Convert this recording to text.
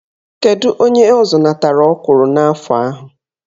Kedụ onye ọ zụnatara ọkwụrụ n'afọ ahụ?